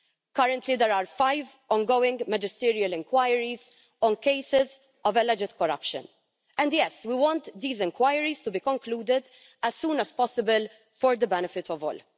Currently there are five ongoing magisterial inquiries on cases of alleged corruption, and yes, we want these inquiries to be concluded as soon as possible, for the benefit of all.